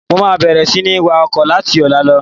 Mo máa bẹ̀rẹ̀ sini wá ọkọ̀ láti ọ̀la lọ.